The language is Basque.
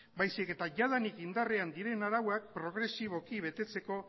baizik eta jadanik indarrean dauden arauak progresiboki betetzeko